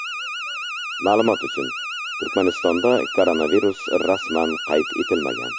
Ma’lumot uchun, Turkmanistonda koronavirus rasman qayd etilmagan.